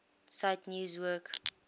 cite news work